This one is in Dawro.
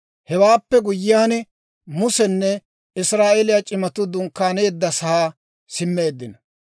Hewaappe guyyiyaan, Musenne Israa'eeliyaa c'imatuu dunkkaaneeddasaa simmeeddino.